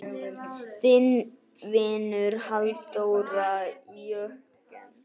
Þinn vinur, Halldór Jörgen.